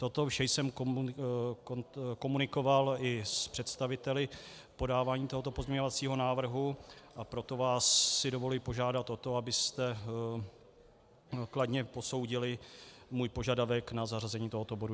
Toto vše jsem komunikoval i s představiteli podávání tohoto pozměňovacího návrhu, a proto si vás dovoluji požádat o to, abyste kladně posoudili můj požadavek na zařazení tohoto bodu.